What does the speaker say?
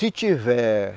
Se tiver...